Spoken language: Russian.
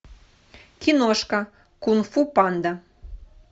киношка кунг фу панда